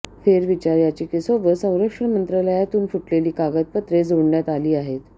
फेरविचार याचिकेसोबत संरक्षण मंत्रालयातून फुटलेली कागदपत्रे जोडण्यात आली आहेत